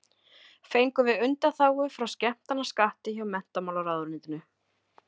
Fengum við undanþágu frá skemmtanaskatti hjá menntamálaráðuneytinu.